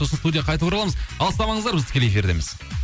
сосын студияға қайта ораламыз алыстамаңыздар біз тікелей эфирдеміз